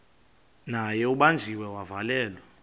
naye ubanjiwe wavalelwa